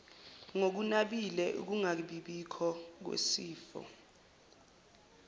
ngokunabile ukungabibikho kwesifo